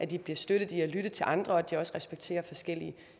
de bliver støttet i at lytte til andre og så de også respekterer forskellige